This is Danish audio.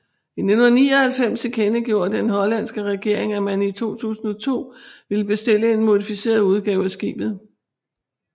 I 1999 tilkendegjorde den hollandske regering at man i 2002 ville bestille en modificeret udgave af skibet